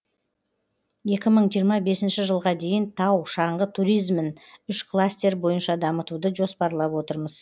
екі мың жиырма бесінші жылға дейін тау шаңғы туризмін үш кластер бойынша дамытуды жоспарлап отырмыз